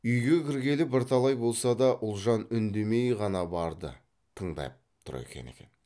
үйге кіргелі бірталай болса да ұлжан үндемей ғана барды тыңдап тұр екен екен